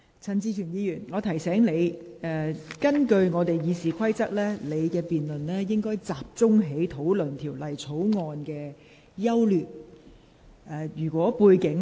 陳志全議員，我提醒你，根據《議事規則》，在這項辯論中，議員應集中討論《條例草案》的整體優劣。